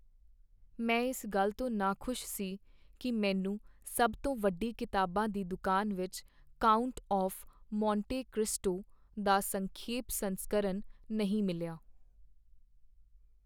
ਮੈਂ ਇਸ ਗੱਲ ਤੋਂ ਨਾਖੁਸ਼ ਸੀ ਕਿ ਮੈਨੂੰ ਸਭ ਤੋਂ ਵੱਡੀ ਕਿਤਾਬਾਂ ਦੀ ਦੁਕਾਨ ਵਿੱਚ "ਕਾਉਂਟ ਆਫ਼਼ ਮੋਂਟੇ ਕ੍ਰਿਸਟੋ" ਦਾ ਸੰਖੇਪ ਸੰਸਕਰਨ ਨਹੀਂ ਮਿਲਿਆ।